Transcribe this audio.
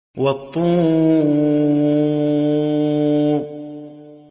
وَالطُّورِ